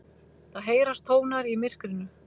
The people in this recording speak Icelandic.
Það heyrast tónar í myrkrinu.